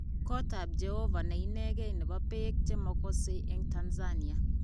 Kotab jeobo neineken nebo peek chemokose eng Tanzania